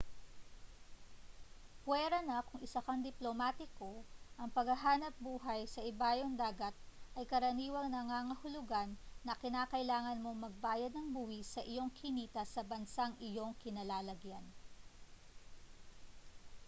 puwera na kung isa kang diplomatiko ang paghahanapbuhay sa ibayong dagat ay karaniwang nangangahulugan na kinakailangan mong magbayad ng buwis sa iyong kinita sa bansang iyong kinalalagyan